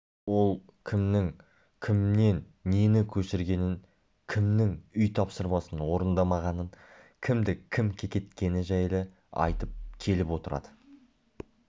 ол кімнің кімнен нені көшіргенін кімнің үй тапсырмасын орындамағанын кімді кім кекеткені жайлы айтып келіп отырады